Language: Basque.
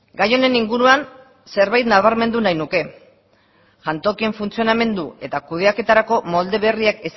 gai honen inguruan zerbait nabarmendu nahi nuke jantokien funtzionamendu eta kudeaketarako molde berriak